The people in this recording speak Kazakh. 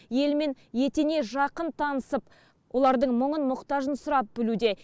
елмен етене жақын танысып олардың мұңын мұқтажын сұрап білуде